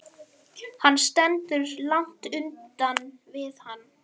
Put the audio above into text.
Hann stendur langt utan við hann.